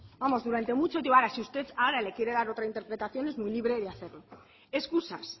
durante mucho tiempo ahora si usted ahora le quiere dar otra interpretación es muy libre de hacerlo escusas